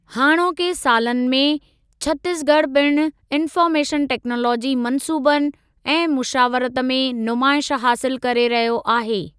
हाणोके सालनि में, छत्तीस ॻढ़ पिण इन्फ़ार्मेशन टेक्नालाजी मन्सूबनि ऐं मुशावरत में नुमाइश हासिलु करे रहियो आहे।